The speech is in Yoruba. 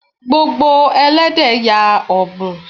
Gbogbo Ẹlẹ́dẹ̀ ya ọ́bùn.